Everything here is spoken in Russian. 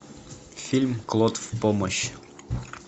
фильм клод в помощь